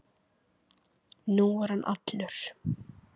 Nú er hann allur.